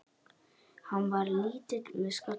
Hann var lítill með skalla.